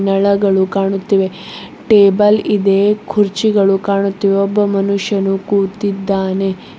ನಳಗಳು ಕಾಣುತ್ತಿವೆ ಟೇಬಲ್ ಇದೆ ಕುರ್ಚಿಗಳು ಕಾಣುತ್ತಿವೆ ಒಬ್ಬ ಮನುಷ್ಯನು ಕೂತಿದ್ದಾನೆ.